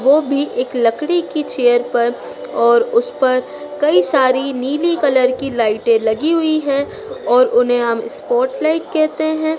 वो भी एक लकड़ी की चेयर पर और उस पर कई सारी नीली कलर की लाइटें लगी हुई हैं और उन्हें हम इस्पोर्ट लाइट कहते हैं।